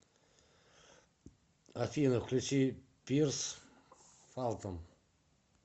афина включи пирс фалтон